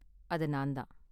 அது நான் தான்